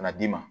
Ka na d'i ma